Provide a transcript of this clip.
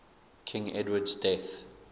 king edward's death